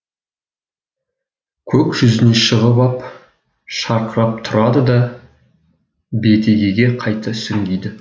көк жүзіне шығып ап шырқырап тұрады да бетегеге қайта сүңгиді